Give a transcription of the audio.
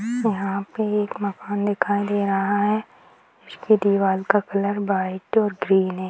यहाँ पे एक मकान दिखाई दे रहा है इसकी दीवाल का कलर व्हाइट और ग्रीन है ।